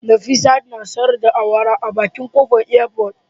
Nefisat na sayar da awara a bakin kofar airport